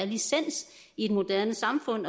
licens i et moderne samfund